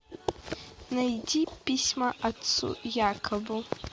найди письма отцу якобу